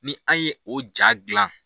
Ni aw ye o ja gilan